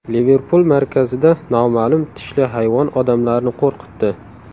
Liverpul markazida noma’lum tishli hayvon odamlarni qo‘rqitdi.